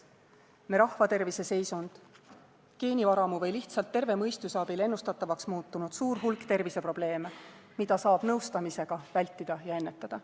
Me rahvatervise seisund, geenivaramu või lihtsalt terve mõistuse abil ennustatavaks muutunud suur hulk terviseprobleeme, mida saab nõustamisega vältida ja leevendada.